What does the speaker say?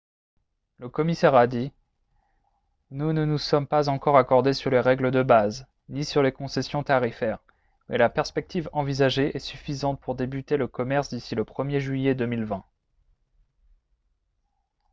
le commissaire a dit :« nous ne nous sommes pas encore accordés sur les règles de base ni sur les concessions tarifaires mais la perspective envisagée est suffisante pour débuter le commerce d'ici le 1er juillet 2020 »